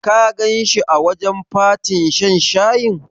Ka ganshi a wajen fatin shan shayin?